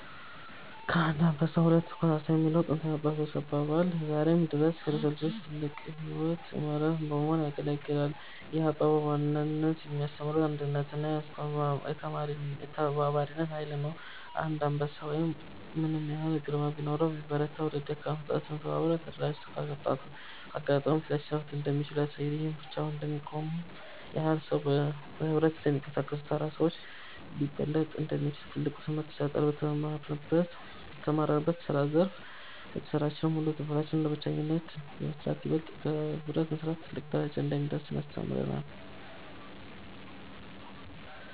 ከአንድ አንበሳ ሁለት ኮሳሳ የሚለው ጥንታዊ የአባቶቻችን አባባል ዛሬም ድረስ ለሰው ልጆች ትልቅ የሕይወት መርህ በመሆን ያገለግላል። ይህ አባባል በዋናነት የሚያስተምረው የአንድነትንና የተባባሪነትን ኃይል ነው። አንድ አንበሳ ምንም ያህል ግርማ ቢኖረውና ቢበረታ፤ ሁለት ደካማ ፍጥረታት ተባብረውና ተደራጅተው ካጋጠሙት ሊያሸንፉት እንደሚችሉ ያሳያል። ይህም ብቻውን ከሚቆም ኃያል ሰው፣ በኅብረት ከሚንቀሳቀሱ ተራ ሰዎች ሊበለጥ እንደሚችል ትልቅ ትምህርት ይሰጣል። በተሰማራንበት የስራ ዘርፍ በስራችንም ይሁን በትምህርታችን ለብቻችን ከመስራት ይበልጥ በህብረት መስራት ትልቅ ደረጃ እንደሚያደርሰን ያስተምረናል።